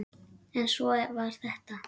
En svona var þetta.